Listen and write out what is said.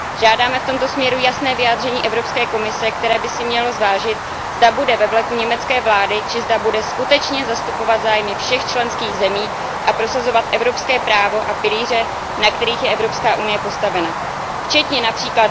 Žádáme v tomto směru jasné vyjádření Evropské komise, která by měla zvážit, zda bude ve vleku německé vlády či zda bude skutečně zastupovat zájmy všech členských zemí a prosazovat evropské právo a pilíře, na kterých je EU postavena, včetně např.